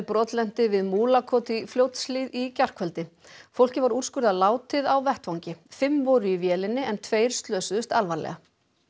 brotlenti við Múlakot í Fljótshlíð í gærkvöldi fólkið var úrskurðað látið á vettvangi fimm voru í vélinni en tveir slösuðust alvarlega